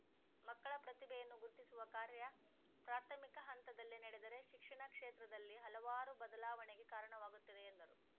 ಮಕ್ಕಳ ಪ್ರತಿಭೆಯನ್ನು ಗುರ್ತಿಸುವ ಕಾರ್ಯ ಪ್ರಾಥಮಿಕ ಹಂತದಲ್ಲೇ ನಡೆದರೆ ಶಿಕ್ಷಣ ಕ್ಷೇತ್ರದಲ್ಲಿ ಹಲವಾರು ಬದಲಾವಣೆಗೆ ಕಾರಣವಾಗುತ್ತದೆ ಎಂದರು